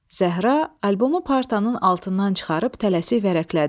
Zəhra albomu partanın altından çıxarıb tələsik vərəqlədi.